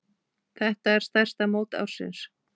Þetta er stærsta mót ársins.